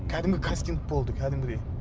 кәдімгі кастинг болды кәдімгідей